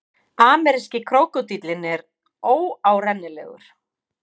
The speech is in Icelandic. Ameríski krókódíllinn er óárennilegur.